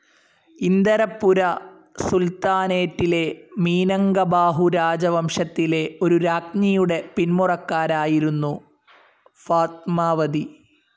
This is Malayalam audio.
ഇന്ദരപ്പുര സുൽത്താനേറ്റിലെ മീനങ്കബാഹു രാജവംശത്തിലെ ഒരു രാജ്ഞിയുടെ പിന്മുറക്കാരായിരുന്നു ഫാത്മാവതി.